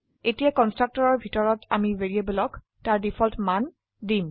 এতিয়াকন্সট্ৰকটৰৰ ভিতৰতআমিভ্যাৰিয়েবলক তাৰ ডিফল্ট মান দিম